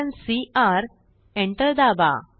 enter दाबा